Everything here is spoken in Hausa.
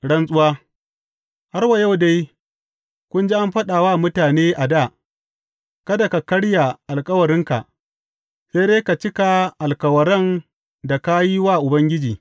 Rantsuwa Har wa yau dai kun ji an faɗa wa mutane a dā, Kada ka karya alkawarinka, sai dai ka cika alkawaran da ka yi wa Ubangiji.’